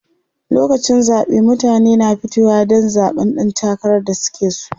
lokacin zaɓe mutane na fitowa Dan zaɓan ɗan takarar da suke so